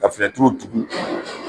Ka tugun